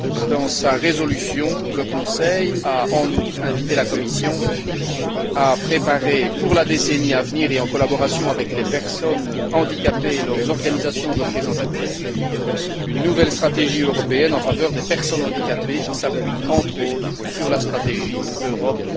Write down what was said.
Dans sa résolution, le Conseil a en outre invité la Commission à préparer, pour la décennie à venir et en collaboration avec les personnes handicapées et leurs organisations représentatives, une nouvelle stratégie européenne en faveur des personnes handicapées qui s'appuie, entre autres, sur la stratégie Europe